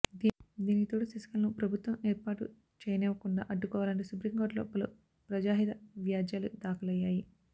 దీనికితోడు శశికళను ప్రభుత్వం ఏర్పాటు చేయనివ్వకుండా అడ్డుకోవాలంటూ సుప్రీం కోర్టులో పలు ప్రజాహిత వ్యాజ్యాలు దాఖలయ్యాయి